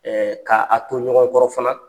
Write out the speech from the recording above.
ka a ko ɲɔgɔn kɔrɔ fana